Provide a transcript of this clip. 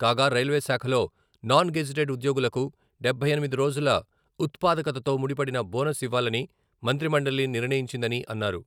కాగా రైల్వే శాఖలో non gazetted ఉద్యోగులకు డబ్బై ఎనిమిది రోజుల ఉత్పాదకతతో ముడిపడిన బోనస్ ఇవ్వాలని మంత్రిమండలి నిర్ణయించిందని అన్నారు.